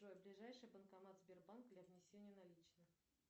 джой ближайший банкомат сбербанка для внесения наличных